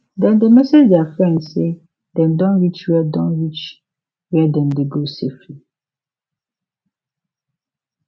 dem dey message their friend say dem don reach where don reach where dem dey go safely